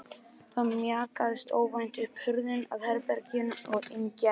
Þá mjakaðist óvænt upp hurðin að herberginu og inn gekk